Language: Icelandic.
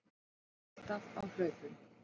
Alltaf á hlaupum.